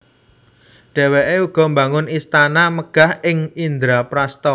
Dhéwékè uga mbangun istana megah ing Indraprastha